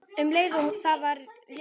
Um leið var það léttir.